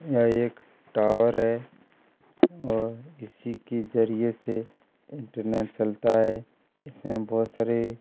यहाँ एक टावर है और इसी के जरिए से इंटरनेट चलता है इसमें बहुत सारे --